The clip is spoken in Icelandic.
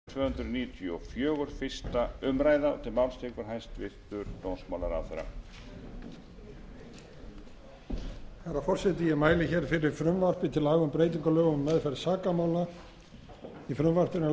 herra forseti ég mæli hér fyrir frumvarpi til laga um breytingu á lögum um meðferð sakamála í frumvarpinu er lagt til að embætti héraðssaksóknara verði sett á stofn fyrsta janúar tvö